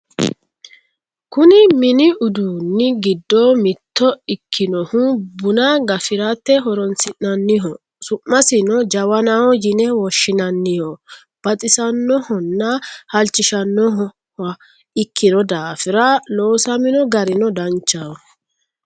kuni mini uduunni giddo mitto ikkinohu buna gafirate horonsi'nanniho su'masino jawanaho yine woshshinanniho baxisannohonna halchishannoha ikkino daafira loosamino garino danchaho